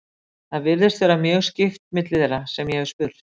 það virðist vera mjög skipt milli þeirra sem ég hef spurt